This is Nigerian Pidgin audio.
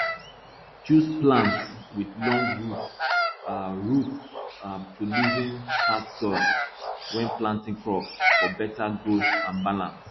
choose plants with long roots um roots um to loosen hard soil when planting crops for better growth and balance